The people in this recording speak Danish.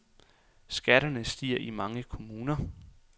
Skatterne stiger i mange kommuner